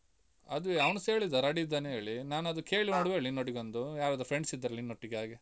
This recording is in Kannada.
ಅದುವೇ ಅವ್ನುಸ ಹೇಳಿದ ready ಇದ್ದಾನೆ ಹೇಳಿ, ನಾನ್ ಅದು ಕೇಳಿ ನೋಡುವ ಹೇಳಿ ನಿನ್ನೊಟಿಗೊಂದು, ಯಾರಾದ್ರು friends ಇದ್ರೆ ನಿನ್ನೊಟ್ಟಿಗೆ ಹಾಗೆ.